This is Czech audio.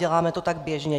Děláme to tak běžně.